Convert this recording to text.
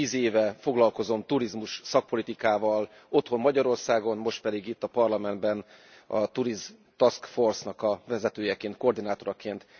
Én tíz éve foglalkozom turizmus szakpolitikával otthon, Magyarországon, most pedig itt a Parlamentben a Tourism Task Force nak a vezetőjeként, koordinátoraként.